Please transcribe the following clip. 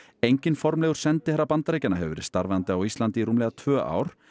enginn formlegur sendiherra Bandaríkjanna hefur verið starfandi á Íslandi í rúmlega tvö ár